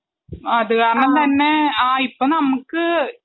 അതുകാരണം തന്നെ ആ ഇപ്പം നമുക്ക്